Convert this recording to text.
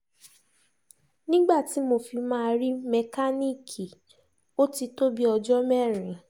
nígbà tí mo fi máa rí mẹkáníìkì ó ti tó bíi ọjọ́ mẹ́rin